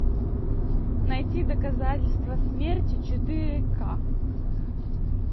найти доказательства смерти четыре ка